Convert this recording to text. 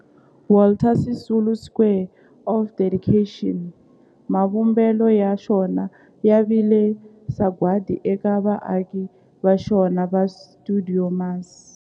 Walter Sisulu Square of Dedication, mavumbelo ya xona ya vile sagwadi eka vaaki va xona va stuidio MAS.